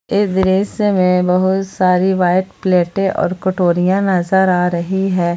इस दृश्य में बहुत सारी व्हाइट प्लेटे और कटोरिया नजर आ रही है।